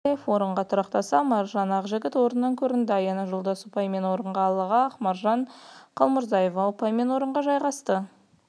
сонымен қатар жібек арапбаев орынға тұрақтаса маржан ағжігіт орыннан көрінді аяна жолдас ұпаймен орынға ал ақмаржан қалмұрзаева ұпаймен орынға жайғасты